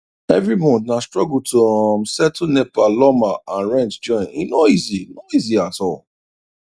every month na struggle to um settle nepa lawma and rent join e no easy no easy at all